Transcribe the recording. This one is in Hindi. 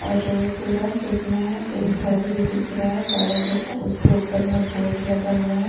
और रोड पूरा चिकना है एक घर भीदिख रहा है बड़ा जैसा उसके ऊपर में एक बोर्ड लगा हुआ है --